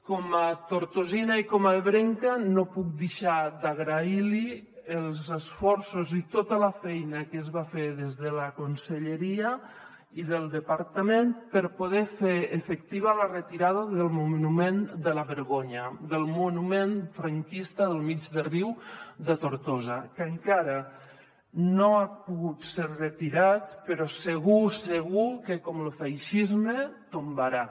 com a tortosina i com a ebrenca no puc deixar d’agrair li els esforços i tota la feina que es va fer des de la conselleria i el departament per poder fer efectiva la retirada del monument de la vergonya del monument franquista del mig de riu de tortosa que encara no ha pogut ser retirat però segur segur que com lo feixisme es tombarà